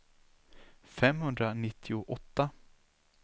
femhundranittioåtta